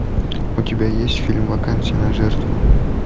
у тебя есть фильм вакансия на жертву